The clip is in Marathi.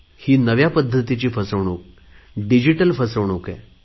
ही नव्या पद्धतीची फसवणूक डिजिटल फसवणूक आहे